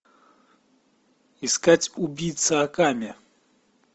искать убийца акаме